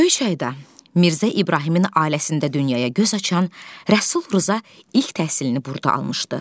Göyçayda Mirzə İbrahimin ailəsində dünyaya göz açan Rəsul Rza ilk təhsilini burada almışdı.